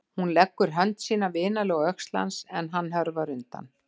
Hún leggur hönd sína vinalega á öxl hans en hann hörfar undan.